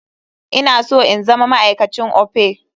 Ina so in zama ma'aikacin Opay.